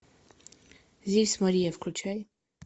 здесь мария включай